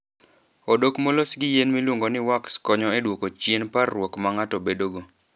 Odok molos gi yien miluongo ni wax konyo e duoko chien parruok ma ng'ato bedogo.